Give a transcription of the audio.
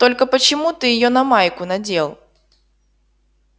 только почему ты её на майку надел